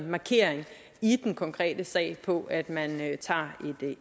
markering i den konkrete sag på at man tager